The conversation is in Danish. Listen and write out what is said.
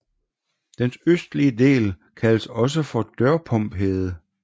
Dens østlige del kaldes også for Dørpumhede